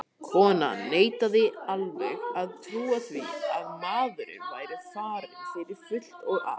Konan neitaði alveg að trúa því að maðurinn væri farinn fyrir fullt og allt.